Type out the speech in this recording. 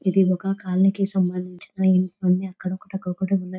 ఇది ఒక కాలనీ కి సంబంధించిన అక్కడొకటి అక్కడొకటి ఉన్నాది.